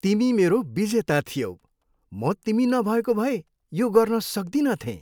तिमी मेरो विजेता थियौ! म तिमी नभएको भए यो गर्न सक्दिनथेँ।